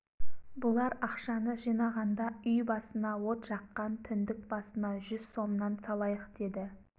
бұлар ақшаны жинағанда үй басына от жаққан түндік басына жүз сомнан салайық деді